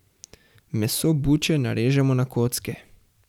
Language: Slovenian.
Meso buče narežemo na kocke.